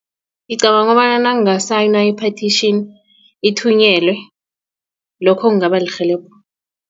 Ngicabanga kobana nanginga-sing i-petition ithunyelwe lokho kungaba lirhelebho.